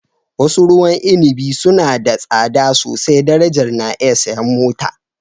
wasu ruwan inabi suna da tsada sosai darajar na iya siyan mota